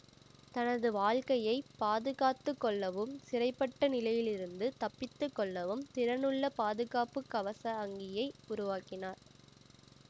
தனது வாழ்க்கையை பாதுகாத்து கொள்ளவும் சிறைபட்ட நிலையிலிருந்து தப்பித்து கொள்ளவும் திறனுள்ள பாதுகாப்பு கவச அங்கியை உருவாக்கினார்